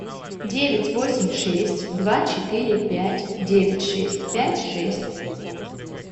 девять восемь шесть два четыре пять девять шесть пять шесть